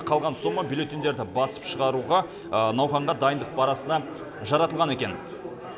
қалған сома бюллетеньдерді басып шығаруға науқанға дайындық барысына жаратылған екен